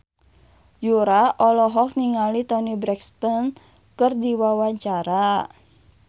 Yura olohok ningali Toni Brexton keur diwawancara